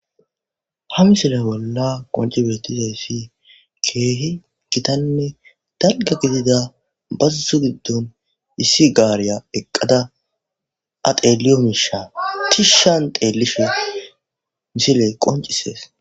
Ha misile bolla qonci beettiza ssi keehi gitanne dalga gidida bazusu giddon issi gaariya eqqada ateliyo miisha tishshan teelishe misiley qoncisees.